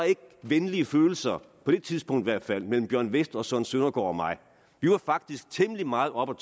venlige følelser på det tidspunkt i hvert fald mellem bjørn westh og søren søndergaard og mig vi var faktisk temmelig meget oppe